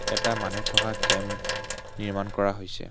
এটা মানুহ থকা কেম্প নিৰ্মাণ কৰা হৈছে।